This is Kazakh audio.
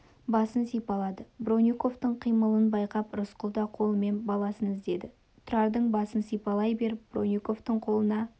басын сипалады бронниковтың қимылын байқап рысқұл да қолымен баласын іздеді тұрардың басын сипалай беріп бронниковтың қолына